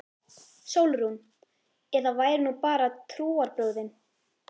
SÓLRÚN: Ef það væru nú bara trúarbrögðin!